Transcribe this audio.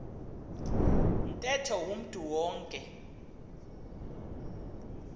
ntetho umntu wonke